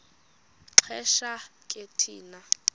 xesha ke thina